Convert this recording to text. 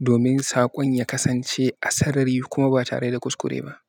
domin saƙon ya kasance a sarari kuma ba tare da kuskure ba.